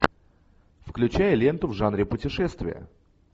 включай ленту в жанре путешествия